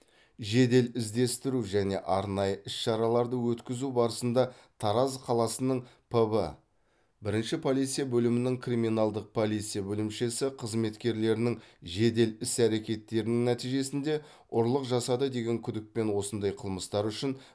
жедел іздестіру және арнайы іс шараларды өткізу барысында тараз қаласының пб бірінші полиция бөлімінің криминалдық полиция бөлімшесі қызметкерлерінің жедел іс әрекеттерінің нәтижесінде ұрлық жасады деген күдікпен осындай қылмыстары үшін